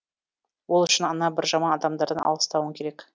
ол үшін ана бір жаман адамдардан алыстауың керек